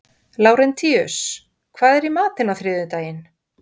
Lárentíus, hvað er í matinn á þriðjudaginn?